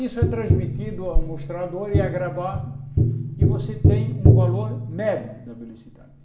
Isso é transmitido ao mostrador e é gravado e você tem um valor médio da velocidade.